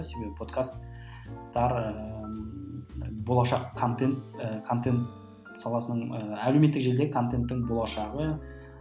себебі подкастар ы болашақ контент і контент саласының ііі әлеуметтік желідегі контентің болашағы